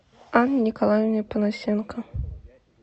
анне николаевне панасенко